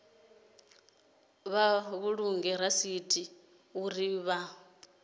vha vhulunge rasithi uri vha